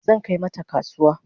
Zan kai mata na kasuwa